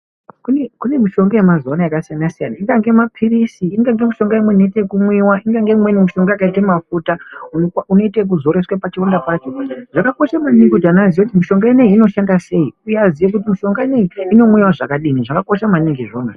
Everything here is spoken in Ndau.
Kune mishonga ye mazuva ano yaka siyana siyana ingange mapilisi ingange mishonga imweni inoita yeku mwiwa ingange imweni mishonga yakaite mafuta unoite yeku zora kusvika pa chironda pacho zvakakosha maningi kuti anhu aziye kuti mishinga ineyi inoshanda sei uye aziye kuti mishonga ineyi inomwiwa zvakadini zvakakosha maningi izvozvo.